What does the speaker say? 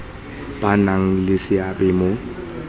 ba nang le seabe mo